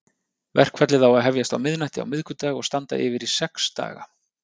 Verkfallið á að hefjast á miðnætti á miðvikudag og standa yfir í sex daga.